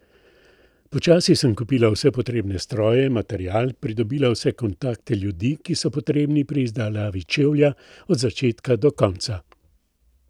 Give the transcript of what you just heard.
Počasi sem kupila vse potrebne stroje, material, pridobila vse kontakte ljudi, ki so potrebni pri izdelavi čevlja od začetka do konca.